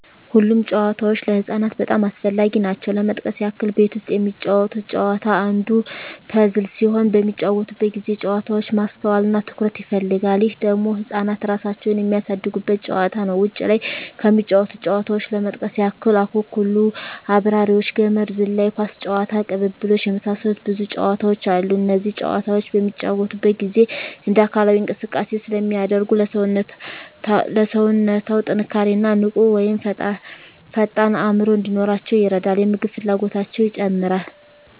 ሁሉም ጨዋታዎች ለህፃናት በጣም አስፈላጊ ናቸው ለመጥቀስ ያክል ቤት ውስጥ የሚጫወቱት ጨዋታ አንዱ ፐዝል ሲሆን በሚጫወቱበት ጊዜ ጨዋታው ማስተዋል እና ትኩረት ይፈልጋል ይህ ደግሞ ህፃናት እራሳቸውን የሚያሳድጉበት ጨዋታ ነው ውጭ ላይ ከሚጫወቱት ጨዋታዎች ለመጥቀስ ያክል አኩኩሉ....፣አብራሪዎች፣ ገመድ ዝላይ፣ ኳስ ጨዋታ፣ ቅልብልቦሽ የመሳሰሉት ብዙ ጨዋታዎች አሉ እነዚህ ጨዋታዎች በሚጫወቱበት ጊዜ እንደ አካላዊ እንቅስቃሴ ስለሚያደርጉ ለሠውነታው ጥንካሬ እና ንቁ ወይም ፈጣን አዕምሮ እንዲኖራቸው ይረዳል የምግብ ፍላጎታቸው ይጨምራል